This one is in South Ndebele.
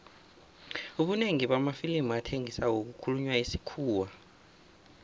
ubunengi bamafilimu athengisako kukhulunywa isikhuwa